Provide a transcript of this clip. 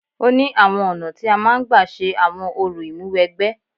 Ó ní àwọn ọ̀nà tí a máa ń gba ṣe àwọn orò Ìmúwẹgbẹ́